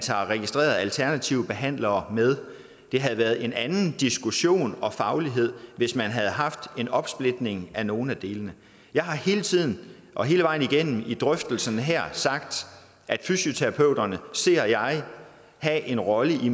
tager registrerede alternative behandlere med det havde været en anden diskussion om faglighed hvis man havde haft en opsplitning af nogle af delene jeg har hele tiden og hele vejen igennem drøftelsen her sagt at fysioterapeuterne ser jeg have en rolle i